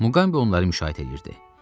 Muqambi onları müşahidə eləyirdi.